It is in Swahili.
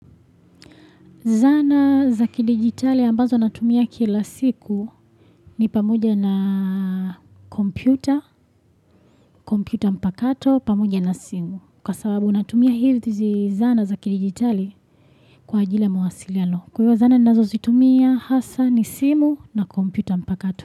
Zana za ki dijitali ambazo natumia kila siku ni pamoja na computer, computer mpakato, pamoja na simu. Kwa sababu natumia hizi zana za ki dijitali kwa ajili ya mawasiliano. Kwaiyo zana ninazo zitumia hasa ni simu na computer mpakato.